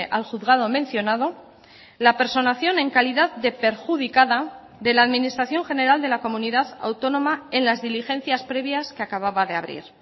al juzgado mencionado la personación en calidad de perjudicada de la administración general de la comunidad autónoma en las diligencias previas que acababa de abrir